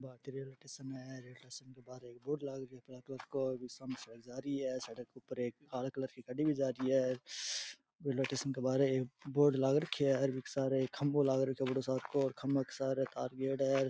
भारतीय railway station है station के बाहर एक बोर्ड जा रही है सड़क के ऊपर एक काला कलर की गाड़ी भी जा रही है रेलवे स्टेशन के बारे एक बोर्ड लाग रखयो है बीके सारे एक खम्बो लाग रखयो है बढ़ो सार को खम्बा के सारे तार गियोडा है।